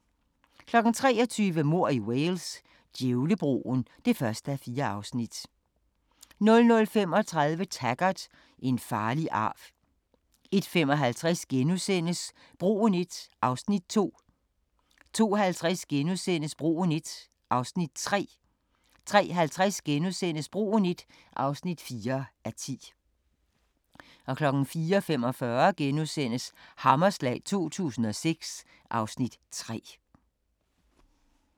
23:00: Mord i Wales: Djævlebroen (1:4) 00:35: Taggart: En farlig arv 01:55: Broen I (2:10)* 02:50: Broen I (3:10)* 03:50: Broen I (4:10)* 04:45: Hammerslag 2006 (Afs. 3)*